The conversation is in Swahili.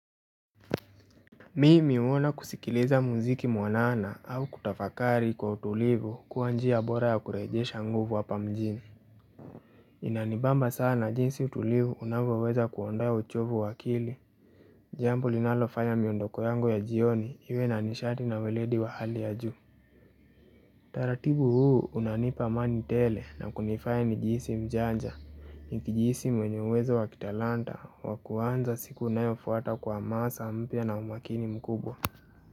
Mimi huona kusikiliza muziki mwanana au kutafakari kwa utulivu kuwa njia bora ya kurejesha nguvu hapa mjini Inanibamba sana jinsi utulivu unavyoweza kuondoa uchovu wa akili Jambo linalofanya miondoko yangu ya jioni iwe na nishati na weledi wa hali ya juu taratibu huu unanipa amani tele na kunifanya nijihisi mjanja, nijihisi mwenye uwezo wa kitalanta wa kuanza siku inayofuata kwa hamasa mpya na umakini mkubwa.